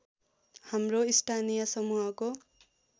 हाम्रो स्थानीय समूहको